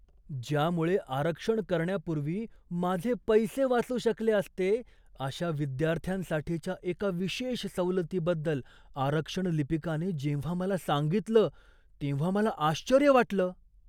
ज्यामुळे आरक्षण करण्यापूर्वी माझे पैसे वाचू शकले असते, अशा विद्यार्थ्यांसाठीच्या एका विशेष सवलतीबद्दल आरक्षण लिपिकाने जेव्हा मला सांगितलं, तेव्हा मला आश्चर्य वाटलं.